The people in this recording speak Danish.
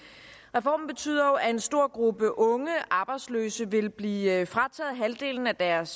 reformen betyder jo at en stor gruppe unge arbejdsløse vil blive frataget halvdelen af deres